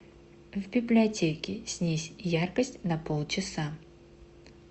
в библиотеке снизь яркость на полчаса